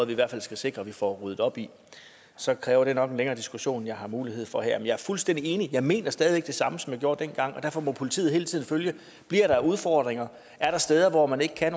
vi i hvert fald skal sikre at vi får ryddet op i så kræver det nok en længere diskussion end jeg har mulighed for her men jeg er fuldstændig enig jeg mener stadig væk det samme som jeg gjorde dengang og derfor må politiet hele tiden følge det bliver der udfordringer er der steder hvor man ikke kan